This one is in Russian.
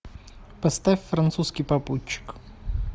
поставь французский попутчик